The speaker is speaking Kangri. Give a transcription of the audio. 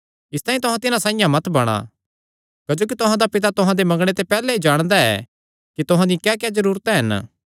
इसतांई तुहां तिन्हां साइआं मत बणा क्जोकि तुहां दा पिता तुहां दे मंगणे ते पैहल्ले ई जाणदा ऐ कि तुहां दियां क्याक्या जरूरतां हन